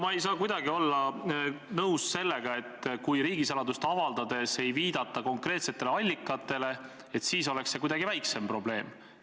Ma ei saa kuidagi olla nõus sellega, et kui riigisaladust avaldades ei viidata konkreetsetele allikatele, et siis oleks see probleem kuidagi väiksem.